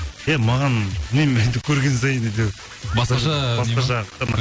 иә маған білмеймін енді көрген сайын әйтеуір басқаша басқаша